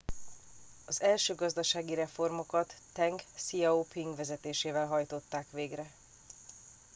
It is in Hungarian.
az első gazdasági reformokat teng hsziao ping vezetésével hajtották végre